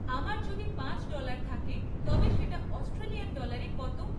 আমার যদি পাঁচ ডলার থাকে তবে সেটা অস্ট্রেলিয়ান ডলারে কত?